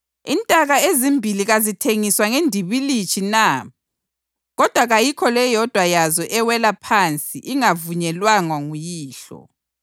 Intaka ezimbili kazithengiswa ngendibilitshi na? Kodwa kayikho leyodwa yazo ewela phansi ingavunyelwanga nguYihlo.